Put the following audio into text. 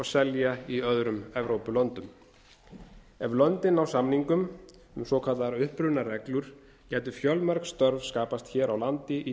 selja í öðrum evrópulöndum ef löndin ná samningum um svokallaðar upprunareglur gætu fjölmörg störf skapast hér á landi í